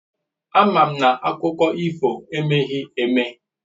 Àma m na akụkọ ifo emeghị eme